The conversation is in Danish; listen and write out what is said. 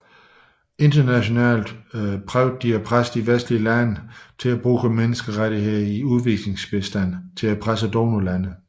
De prøvede internationalt at presse de vestlige lande til at bruge menneskerettighederne i udviklingsbistanden til at presse donorlandene